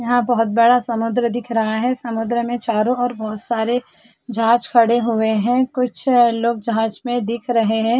यहाँ बहुत बड़ा समुन्द्र दिख रहा है समुन्द्र में चारों और बहुत सारे जहाज खड़े हुए है कुछ लोग जहाज में दिख रहे है।